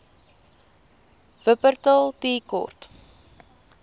wupperthal tea court